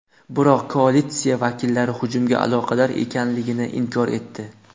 Biroq koalitsiya vakillari hujumga aloqador ekanligini inkor etdi.